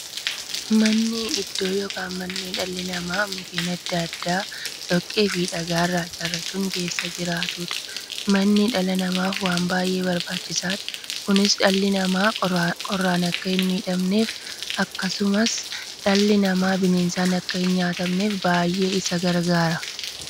Manni iddoo yookiin mandhee dhalli namaa Mukkeen adda addaa, dhoqqeefi dhagaa irraa ijaarachuun keessa jiraataniidha. Manni dhala namaaf waan baay'ee barbaachisaadha. Kunis, dhalli namaa qorraan akka hin miidhamneefi akkasumas dhalli namaa bineensaan akka hin nyaatamneef baay'ee isaan gargaara.